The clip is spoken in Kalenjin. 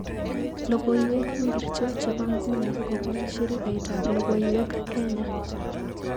Logoiwek ingircho chebo nyuni kobun shirikaitab logoiwek, Kenya